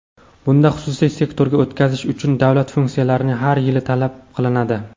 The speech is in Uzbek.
bunda xususiy sektorga o‘tkazish uchun davlat funksiyalari har yili tanlab olinadi.